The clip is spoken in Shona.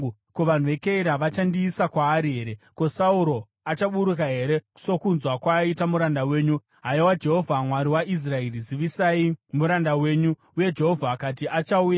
Ko, vanhu veKeira vachandiisa kwaari here? Ko, Sauro achaburuka here, sokunzwa kwaita muranda wenyu? Haiwa Jehovha, Mwari waIsraeri, zivisai muranda wenyu.” Uye Jehovha akati, “Achauya.”